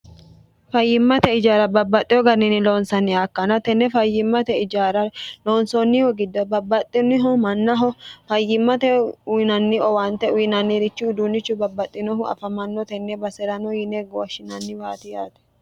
fayyimmate ijaara babbaxxiho ganini loonsanni aakkanna tenne fayyimmate ijaara loonsoonnihu gidda babbaxxinniho mannaho fayyimmate uyinanni owaante uyinannirichu uduunnichu babbaxxinohu afamanno tenne base'rano yine woshshinanniwaati yaate